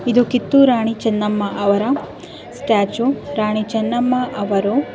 ಇದು ಕಿತ್ತೂರಾಣಿ ಚೆನ್ನಮ್ಮ ಅವರ ಸ್ಟ್ಯಾಚು ರಾಣಿ ಚೆನ್ನಮ್ಮ ಅವರು --